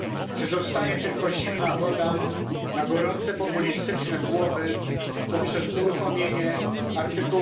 Czy zostaje tylko zimna woda na gorące populistyczne głowy poprzez uruchomienie art.